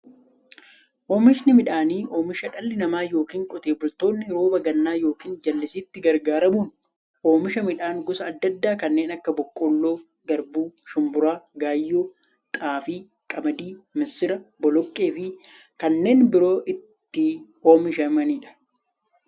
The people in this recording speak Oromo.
Oomishni midhaanii, oomisha dhalli namaa yookiin Qotee bultoonni roba gannaa yookiin jallisiitti gargaaramuun oomisha midhaan gosa adda addaa kanneen akka; boqqolloo, garbuu, shumburaa, gaayyoo, xaafii, qamadii, misira, boloqqeefi kanneen biroo itti oomishamiidha.